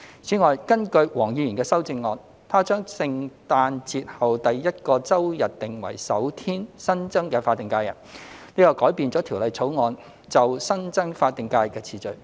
此外，根據黃議員的修正案，他將聖誕節後第一個周日訂為首天新增的法定假日，這改變了《條例草案》就新增法定假日的次序。